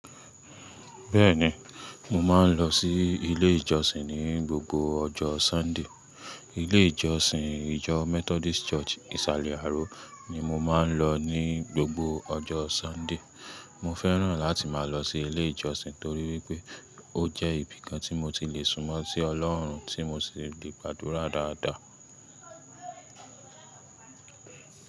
Bẹ́ẹ̀ni, mo máa ń lọ sí ilé ìjọsìn ní gbogbo ọjọ́ Sunday. Ilé ìjọsìn ìjọ Methodist Church ìsàlẹ̀ Aro ni mo máa ń lọ ní gbogbo ọjọ́ Sunday. Mo fẹ́ràn láti máa lọ sí ilé ìjọsìn torí wípé ó jẹ́ ibi kan tí mo ti le sùnmọ́ sí Ọlọ́run tí mo sì le gbàdúrà dáadáa.